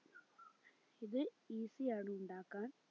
ഇത് easy ആണ് ഉണ്ടാക്കാൻ